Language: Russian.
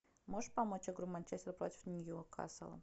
можешь помочь игру манчестер против ньюкасла